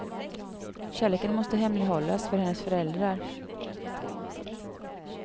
Kärleken måste hemlighållas för hennes föräldrar.